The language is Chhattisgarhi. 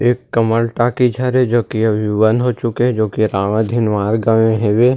ए कमल टाकीज हरे जोकि अभी बंद हो चुके हे जोकि रामा धिनवार गा में हेवे है।